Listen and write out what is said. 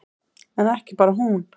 En ekki bara hún.